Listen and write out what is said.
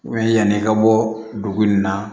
yanni i ka bɔ dugu in na